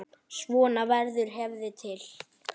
Svona verður hefð til.